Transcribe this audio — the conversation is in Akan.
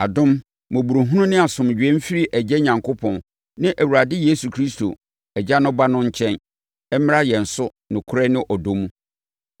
Adom, mmɔborɔhunu ne asomdwoeɛ mfiri Agya Onyankopɔn ne Awurade Yesu Kristo, Agya no Ba no nkyɛn, mmra yɛn so nokorɛ ne ɔdɔ mu.